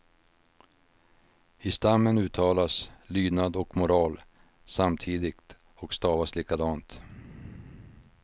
I stammen uttalas lydnad och moral samtidigt och stavas likadant.